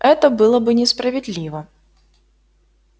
это было бы несправедливо